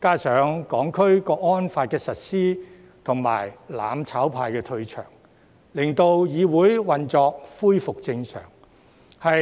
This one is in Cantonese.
加上《香港國安法》實施及"攬炒派"退場，令議會運作恢復正常。